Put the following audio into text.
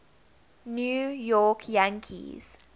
new york yankees